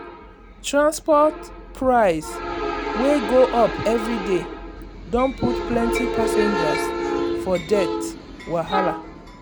transport price wey go up every day don put plenty passengers for debt wahala.